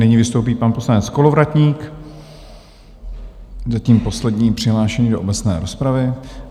Nyní vystoupí pan poslanec Kolovratník, zatím poslední přihlášený do obecné rozpravy.